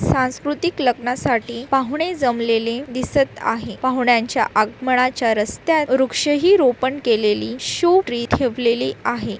सांस्कृतीक लग्नासाठी पाहुणे जमलेले दिसत आहे पाहुण्यांच्या आगमनाच्या रस्त्यात वृक्षही रोपण केलेली शो ट्री ठेवलेली आहे.